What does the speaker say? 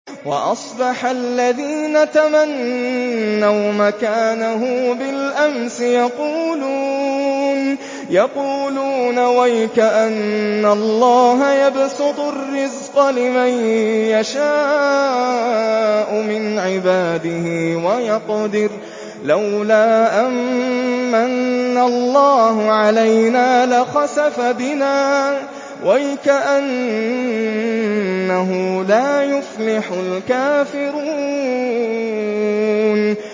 وَأَصْبَحَ الَّذِينَ تَمَنَّوْا مَكَانَهُ بِالْأَمْسِ يَقُولُونَ وَيْكَأَنَّ اللَّهَ يَبْسُطُ الرِّزْقَ لِمَن يَشَاءُ مِنْ عِبَادِهِ وَيَقْدِرُ ۖ لَوْلَا أَن مَّنَّ اللَّهُ عَلَيْنَا لَخَسَفَ بِنَا ۖ وَيْكَأَنَّهُ لَا يُفْلِحُ الْكَافِرُونَ